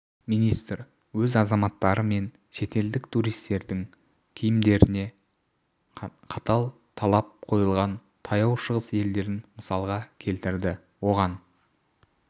министр өз азаматтары мен шетелдік туристердің киімдеріне қатал талап қойылған таяу шығыс елдерін мысалға келтірді оған